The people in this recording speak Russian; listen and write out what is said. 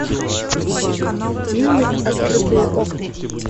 фильмик открытые окна